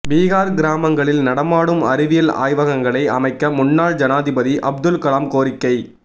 பீகார் கிராமங்களில் நடமாடும் அறிவியல் ஆய்வகங்களை அமைக்க முன்னாள் ஜனாதிபதி அப்துல் கலாம் கோரிக்கை